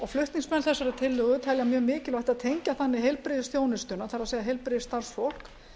flutningsmenn þessarar tillögu telja mjög mikilvægt að tengja þannig heilbrigðisþjónustuna það er heilbrigðisstarfsfólk